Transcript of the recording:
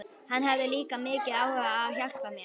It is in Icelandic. Hann hafði líka mikinn áhuga á að hjálpa mér.